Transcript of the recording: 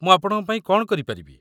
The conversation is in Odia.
ମୁଁ ଆପଣଙ୍କ ପାଇଁ କ'ଣ କରିପାରିବି?